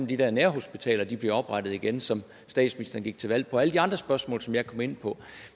de der nærhospitaler bliver oprettet igen som statsministeren gik til valg på og alle de andre spørgsmål som jeg kom ind på